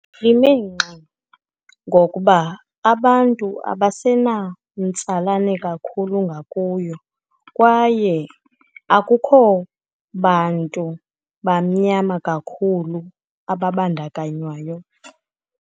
Lime ngxi, ngokuba abantu abasenamtsalane kakhulu ngakuyo, kwaye akukho bantu bamnyama kakhulu ababandakanywayo.